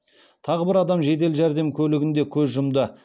тағы бір адам жедел жәрдем көлігінде көз жұмды